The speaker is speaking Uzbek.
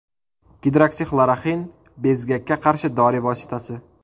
Gidroksixloroxin bezgakka qarshi dori vositasi.